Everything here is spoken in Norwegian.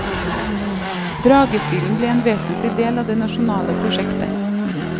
Dragestilen ble en vesentlig del av det nasjonale prosjektet.